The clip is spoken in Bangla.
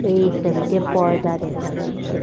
এই সবিতে পর্দা দেখা যাচ্ছে।